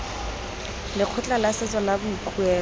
lekgotla la setso la boikuelo